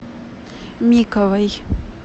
миковой